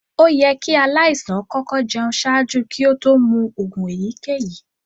Oyẹ̀ kí alaisàn kọkọ̀ jẹún ṣaajú kí òtó mú oogun èyíkẹ̀yí.